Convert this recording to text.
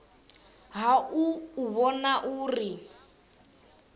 ha u u vhona uri